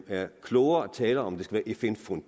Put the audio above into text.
er klogere at tale om at